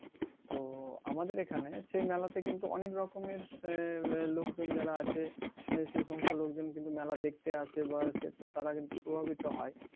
তো আমাদের এইখানে সেই মেলাতে কিন্তু অনেক রকমের লোকজন যারা আছে সে সমস্ত লোকজন কিন্তু মেলা দেখতে আসে বা আসে তারা কিন্তু প্রভাবিত হয়